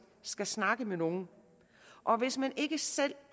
skal snakke med nogen og hvis man ikke selv